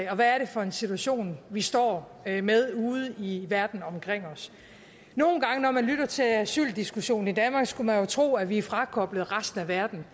og hvad er det for en situation vi står med med ude i verden omkring os nogle gange når man lytter til asyldiskussionen i danmark skulle man jo tro at vi er frakoblet resten af verden